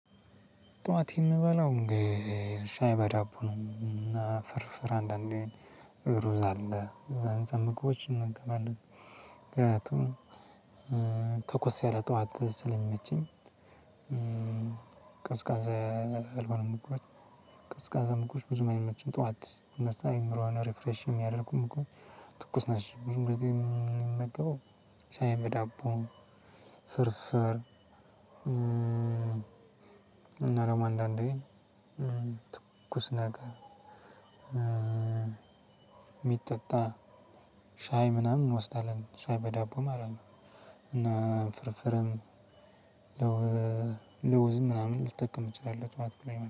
ጥዋት የምበላው እንግዲህ ሻይ በዳቦ ነው። እና ፍርፍር አንዳንዴ ሩዝ አለ። እነዛን ምግቦች እመገባለሁ። ምክንያቱም ተኮስ ያለ ጥዋት ስለሚመችኝ ቀዝቃዛ ያልሆኑ ምግቦች ቀዝቃዛ ምግቦች ብዙ አይመቹም ጥዋት አእምሮ ሪፍሬሽ የሚያደርጉም እኮ ትኩስ ነሽ ብዙ ጊዜ የምመገበው ሻይ በዳቦ ፍርፍር እና ደግሞ አንዳንዴ ትኩስ ነገር የሚጠጣ ሻይ ምናምን እንወስዳለን ሻይ በዳቦ ማለት ነው። እና ፍርፍርም ለውዝ ምናምን ልትጠቀም ትችላለህ ጥዋት ላይም